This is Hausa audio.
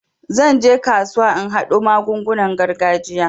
Zan je kasuwa in haɗo magungunan gargajiya.